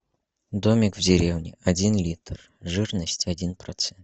домик в деревне один литр жирность один процент